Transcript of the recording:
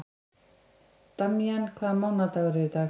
Damjan, hvaða mánaðardagur er í dag?